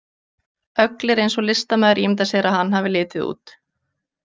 Öglir eins og listamaður ímyndar sér að hann hafi litið út.